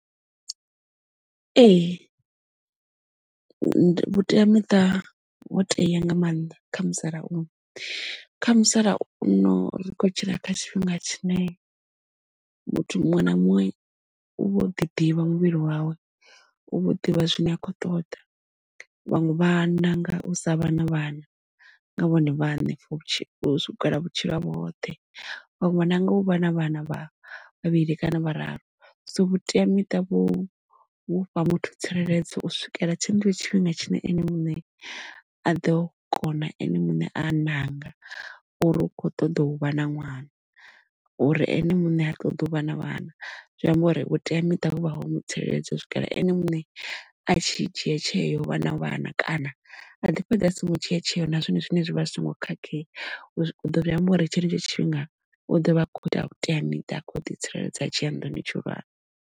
Ee, vhuteamiṱa ho tea nga maanḓa kha musalauno kha musalauno ri kho tshila kha tshifhinga tshine muthu muṅwe na muṅwe u vho u ḓi ḓivha muvhili wawe u vho ḓivha zwine a khou ṱoḓa, vhaṅwe vha nanga u sa vha na vhana nga vhone vhaṋe u swikela vhutshilo havho hoṱhe vhaṅwe nanga u vha na vhana vha vhavhili kana vhararu. So vhuteamiṱa vhufha muthu tsireledzo u swikela tshiṅwe tshifhinga tshine ene muṋe a ḓo kona ene muṋe a ṋanga uri u kho ṱoḓa u vha na ṅwana uri ene muṋe ha ṱoḓi u vha na vhana zwi amba uri vhuteamiṱa hu vha ho mu tsireledza u swikela ene muṋe a tshi dzhia tsheo vha na vhana kana a ḓi fhedza a songo dzhia tsheo nazwo zwine zwivha zwi songo khakhea zwi amba uri tshenetsho tshifhinga u ḓovha a kho ita vhuteamiṱa kho ḓi tsireledza a tshia nḓuni tshihulwane.